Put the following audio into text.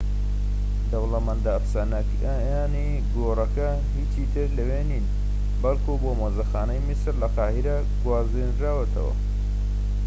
دەوڵەمەندە ئەفسانەییەکانی گۆڕەکە هیچی تر لەوێ نین بەڵکو بۆ مۆزەخانەی میسر لە قاهیرە گوێزراونەتەوە